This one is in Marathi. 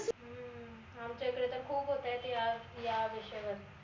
आमच्या इकडे तर खूप होतायत या या विषयावर